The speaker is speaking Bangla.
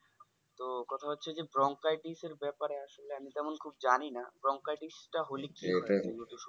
তো কথা হচ্ছে যে bronchitis এর ব্যাপারে আসল আমি তেমন খুব জানি না bronchitis টা হোলি কি